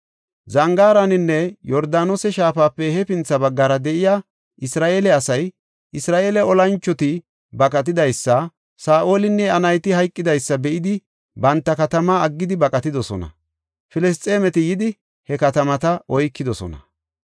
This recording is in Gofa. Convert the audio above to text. Zangaaraninne Yordaanose shaafape hefintha baggara de7iya Isra7eele asay, Isra7eele olanchoti baqatidaysa, Saa7olinne iya nayti hayqidaysa be7idi banta katamaa aggidi baqatidosona. Filisxeemeti yidi, he katamata oykidosona.